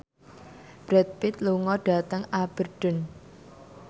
Brad Pitt lunga dhateng Aberdeen